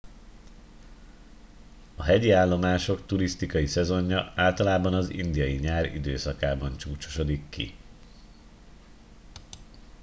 a hegyi állomások turisztikai szezonja általában az indiai nyár időszakában csúcsosodik ki